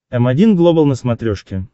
м один глобал на смотрешке